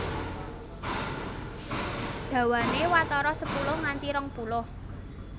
Dawané watara sepuluh nganti rong puluh